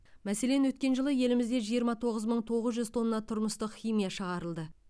мәселен өткен жылы елімізде жиырма тоғыз мың тоғыз жүз тонна тұрмыстық химия шығарылды